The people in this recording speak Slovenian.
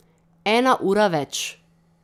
Ena ura več.